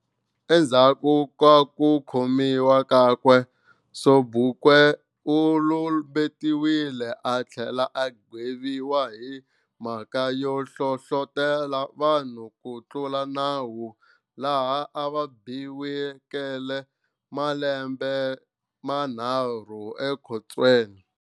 Endzhaku ka ku khomiwa kakwe, Sobukwe ulumbetiwile a thlela a gweviwa hi mhaka yo hlohlotela vanhu ku tlula nawu, laha a va biwekele malembe manharhu ekhotsweni.